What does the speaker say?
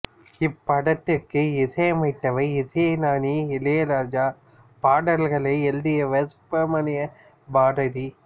இப் படத்திற்கு இசை அமைத்தவர் இசைஞானி இளையராஜா பாடல்களை எழுதியவர் சுப்பிரமணிய பாரதி